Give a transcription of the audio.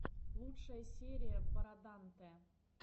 лучшая серия бороданте